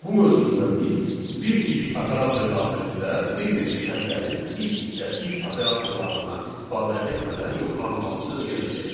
Bu mövzumuzda biz bir if operatoru daxilində bir neçə şərtlərin iç-içə if operatorlarından istifadə etmədən yoxlanılmasını öyrənəcəyik.